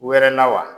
Wɛrɛ la wa